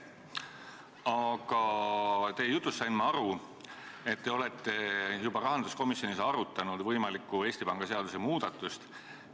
Aga teie jutust sain ma aru, et te olete rahanduskomisjonis juba arutanud võimalikku Eesti Panga seaduse muutmist.